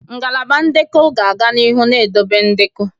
Ngalaba ndekọ ga-aga n'ihu na-edobe ndekọ.